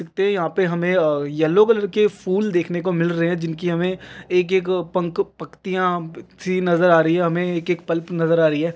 यहाँ पे हमे अं-- येल्लो कलर के फूल दिखने को मिल रहे हैं जिनकी की हमे एक एक पंख पक्तियाँ सी नज़र आ रही हैं हमे एक एक पल्प नज़र आ रही है।